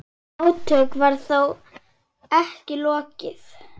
Átökum var þó ekki lokið.